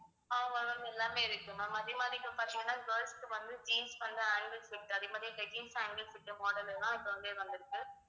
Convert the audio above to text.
ஆமா ma'am எல்லாமே இருக்கு ma'am அதே மாதிரி இப்ப பாத்தீங்கன்னா girls க்கு வந்து jeans வந்து ankle fit அதே மாதிரி leggings ankle fitmodel எல்லாம் இப்ப வந்து வந்திருக்கு